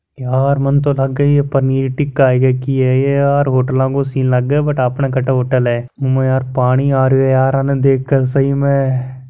यार मन त लागे पनीर टिक्का है के कि है यार हॉटलं कि सीन है बट आपने कट्ठ होटल है मुँह म पानी आ रियो है यार आंन्न देख के सही मे --